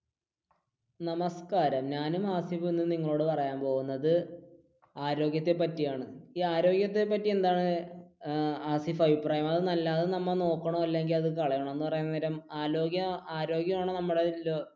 നമസ്കാരം ഞാനും ആസിഫും ഇന്ന് നിങ്ങളോട് പറയാൻ പോകുന്നത് ആരോഗ്യത്തെ പറ്റിയാണ്. ഈ ആരോഗ്യത്തെ പറ്റി എന്താണ് ആസിഫ് അഭിപ്രായങ്ങൾ അത് നമ്മൾ നോക്കണോ അല്ലെങ്കിൽ അത് കളയണോ അന്ന് പറയാൻ നേരം ആരോആരോഗ്യമാണ് നമ്മുടെ